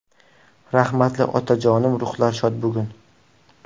Rahmatli otajonim ruhlari shod bugun!